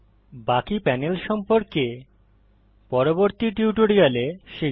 বাকি প্যানেল সম্পর্কে পরবর্তী টিউটোরিয়াল শিখব